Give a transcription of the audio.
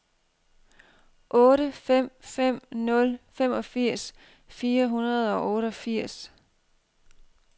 otte fem fem nul femogfirs fire hundrede og otteogfirs